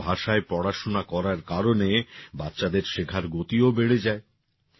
নিজেদের ভাষায় পড়াশোনা করার কারণে বাচ্চাদের শেখার গতিও বেড়ে যায়